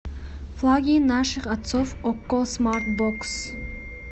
флаги наших отцов окко смарт бокс